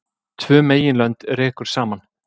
Tvö meginlönd rekur saman